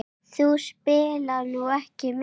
Þú spilaðir nú ekki mikið?